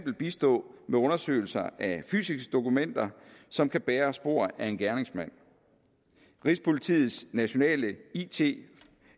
bistå med undersøgelser af fysiske dokumenter som kan bære spor af en gerningsmand rigspolitiets nationale it